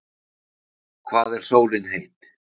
hvað er sólin heit